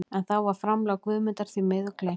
En þá var framlag Guðmundar því miður gleymt.